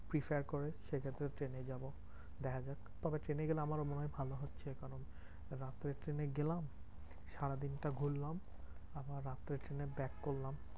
Prepare করে সেক্ষেত্রে ট্রেনে যাবো। দেখাযাক তবে ট্রেনে গেলে আমারও মনে হয় ভালো হচ্ছে। কারণ রাত্রের ট্রেনে গেলাম সারাদিনটা ঘুরলাম। আবার রাত্রের ট্রেনে back করলাম।